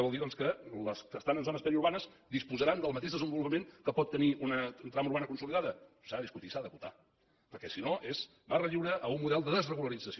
vol dir que les que estan en zones periurbanes disposaran del mateix desenvolupament que pot tenir una trama urbana consolidada s’ha de discutir i s’ha d’acotar perquè si no és barra lliure a un model de desregularització